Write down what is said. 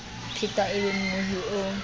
phetwa e be mmohi o